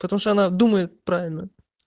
потому что она думает правильно